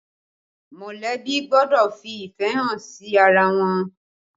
Molebi gbọ́dọ̀ fi ìfẹ́ hàn sí ara wọn